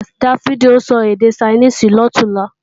Dáfídì ó sọ èdè Ṣainíìsì lọ̀túnla